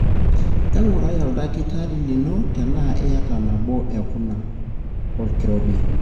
engurai oldakitari lino tena iyata nabo ekuna; olkirobi.